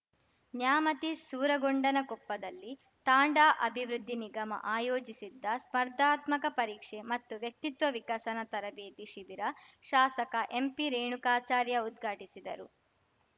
ನ್ಯಾಮತಿ ಸೂರಗೊಂಡನಕೊಪ್ಪದಲ್ಲಿ ತಾಂಡಾ ಅಭಿವೃದ್ಧಿ ನಿಗಮ ಆಯೋಜಿಸಿದ್ದ ಸ್ಪರ್ಧಾತ್ಮಕ ಪರೀಕ್ಷೆ ಮತ್ತು ವ್ಯಕ್ತಿತ್ವ ವಿಕಸನ ತರಬೇತಿ ಶಿಬಿರ ಶಾಸಕ ಎಂಪಿ ರೇಣುಕಾಚಾರ್ಯ ಉದ್ಘಾಟಿಸಿದರು